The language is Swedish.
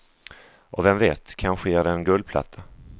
Och vem vet, kanske ger det en guldplatta.